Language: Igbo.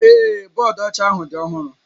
Ee, bọọdụ ọcha ahụ dị ọhụrụ